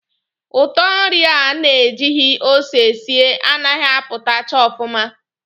Ụtọ nri a na ejighi ose sie a naghị apụtacha ọfụma.